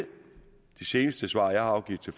seneste svar jeg har afgivet til